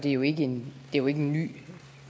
er jo ikke en ny